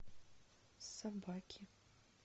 собаки